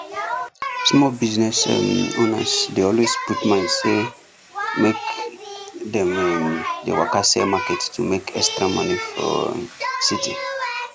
small business um owners dey always put mind say make dem um dey waka sell market to make extra money for um city